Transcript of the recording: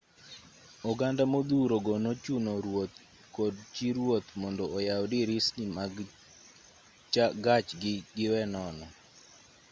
oganda modhuro go nochuno ruoth kod chi ruoth mondo oyaw dirisni mag gachgi giwe nono